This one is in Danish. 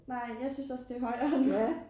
Nej jeg synes også det højere nu